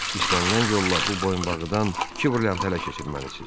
İstənilən yolla bu boyunbağıdan iki brilliant ələ keçirməlisiz.